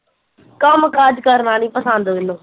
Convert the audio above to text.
ਕੰਮ ਕਾਜ ਕਰਨਾ ਨੀ ਪਸੰਦ ਮੈਨੂੰ